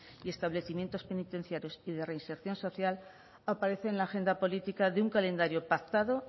y establecimientos penitenciarios y de reinserción social aparece en la agenda política de un calendario pactado